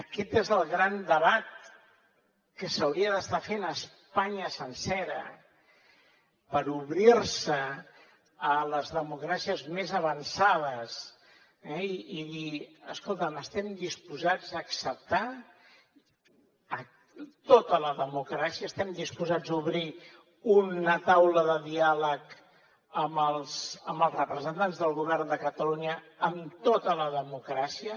aquest és el gran debat que s’hauria d’estar fent a espanya sencera per obrir se a les democràcies més avançades eh i dir escolta’m estem disposats a acceptar tota la democràcia estem disposats a obrir una taula de diàleg amb els representants del govern de catalunya amb tota la democràcia